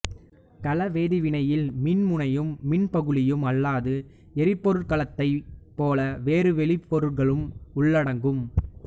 கல வேதிவினையில் மின்முனையும் மின்பகுளியும் அல்லாது எரிபொருட்கலத்தைப் போல வேறு வெளிப்பொருளும் உள்ளடங்கும்